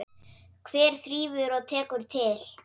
Hver þrífur og tekur til?